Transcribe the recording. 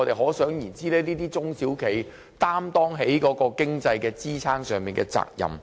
可想而知，這些中小企肩負支撐國內經濟的責任。